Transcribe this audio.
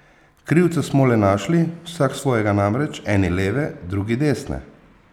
Krivca smo le našli, vsak svojega namreč, eni leve, drugi desne!